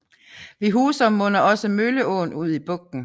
Ved Husum munder også Mølleåen ud i bugten